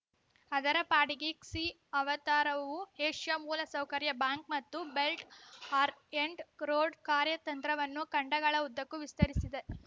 ಅದರ ಪಾಡಿಗೆ ಕ್ಸಿ ಅವತಾರವು ಏಷ್ಯಾ ಮೂಲಸೌಕರ್ಯ ಬ್ಯಾಂಕ್‌ ಮತ್ತು ಬೆಲ್ಟ್‌ ಆರ್ ಎಂಟ್ ರೋಡ್‌ ಕಾರ್ಯತಂತ್ರವನ್ನು ಖಂಡಗಳ ಉದ್ದಕ್ಕೂ ವಿಸ್ತರಿಸಿದೆ